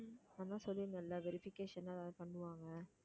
அதான் சொல்லியிருந்தேன்ல verification எல்லாம் ஏதாவது பண்ணுவாங்க